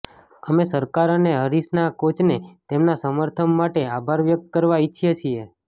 અમે સરકાર અને હરીશના કોચને તેમના સમર્થમ માટે આભાર વ્યક્ત કરવા ઈચ્છીએ છીએ